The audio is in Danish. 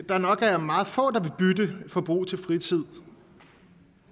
der nok er meget få der vil bytte forbrug til fritid